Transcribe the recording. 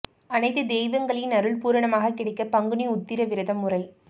அனைத்து தெய்வங்களின் அருள் பூரணமாக கிடைக்க பங்குனி உத்திர விரதம் முறை